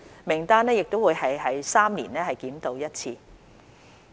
名單亦會每3年檢討一次。